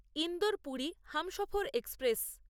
Indore Puri Humsafar express